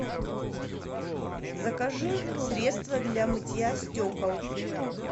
закажи средство для мытья стекол